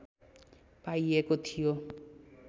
पाइएको थियो